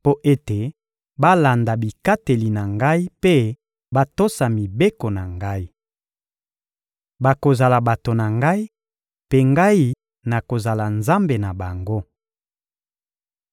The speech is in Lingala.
mpo ete balanda bikateli na Ngai mpe batosa mibeko na Ngai. Bakozala bato na Ngai, mpe Ngai nakozala Nzambe na bango.